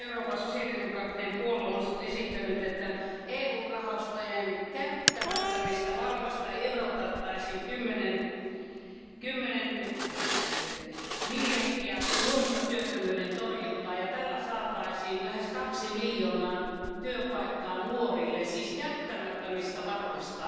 Esimerkiksi Euroopan sosiaalidemokraattinen puolue on esittänyt, että EU rahastojen käyttämättömistä varoista irrotettaisiin 10 miljardia nuorisotyöttömyyden torjuntaan ja tällä saataisiin lähes kaksi miljoonaa työpaikkaa nuorille, siis käyttämättömistä varoista?